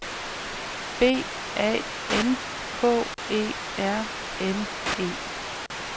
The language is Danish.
B A N K E R N E